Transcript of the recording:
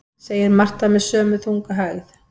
segir Marta með sömu þungu hægð.